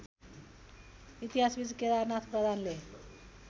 इतिहासविद् केदारनाथ प्रधानले